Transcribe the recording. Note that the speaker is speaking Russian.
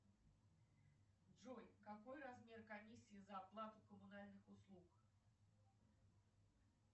джой какой размер комиссии за оплату коммунальных услуг